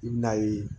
I bi n'a ye